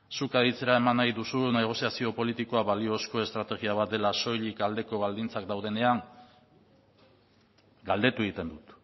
zuk aditzera eman nahi duzu negoziazio politikoa baliozko estrategia bat dela soilik aldeko baldintzak daudenean galdetu egiten dut